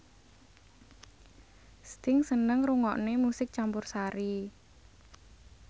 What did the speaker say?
Sting seneng ngrungokne musik campursari